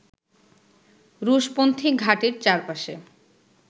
রুশপন্থি ঘাঁটির চারপাশে